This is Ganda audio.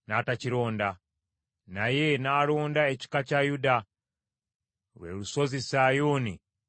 naye n’alonda ekika kya Yuda, lwe lusozi Sayuuni lwe yayagala.